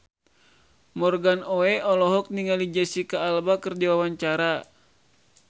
Morgan Oey olohok ningali Jesicca Alba keur diwawancara